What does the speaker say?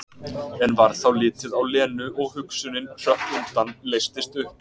En varð þá litið á Lenu og hugsunin hrökk undan, leystist upp.